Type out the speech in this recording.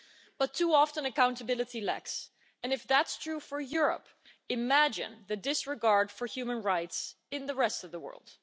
But too often accountability lacks and if that's true for Europe, imagine the disregard for human rights in the rest of the world.